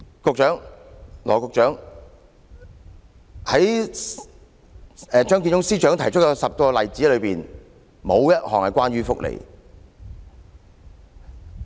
羅致光局長，在張建宗司長提出的10個例子中，沒有一項關於福利。